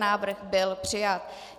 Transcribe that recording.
Návrh byl přijat.